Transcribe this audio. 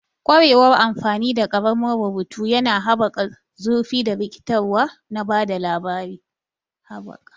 Ƙwarewar amfani da ƙaramin rubutu yana haɓaka zurfi da rikitarwa na ba da labari.